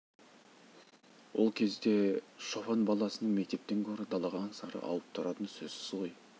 ол кезде шопан баласының мектептен гөрі далаға аңсары ауып тұратыны сөзсіз ғой